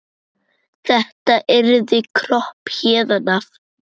Þetta yrði kropp héðan af.